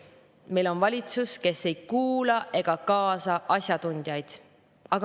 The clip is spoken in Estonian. Meil on valitsus, kes ei kuula ega kaasa asjatundjaid.